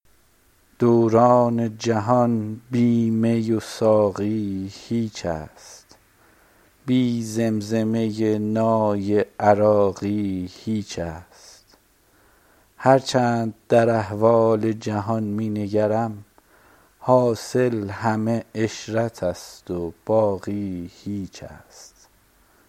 دوران جهان بی می و ساقی هیچ است بی زمزمه نای عراقی هیچ است هر چند در احوال جهان می نگرم حاصل همه عشرت است و باقی هیچ است